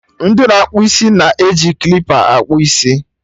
Ndị na akpụ isi na-eji klipa akpụ isi